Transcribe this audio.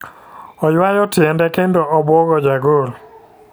Oyuayo tiende kendo obuogo ja gol .